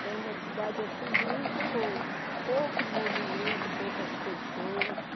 Foi uma cidade, assim, muito... Pouco movimento, poucas pessoas.